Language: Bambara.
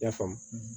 I y'a faamu